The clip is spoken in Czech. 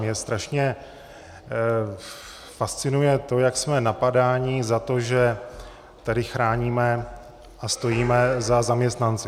Mě strašně fascinuje to, jak jsme napadáni za to, že tady chráníme a stojíme za zaměstnanci.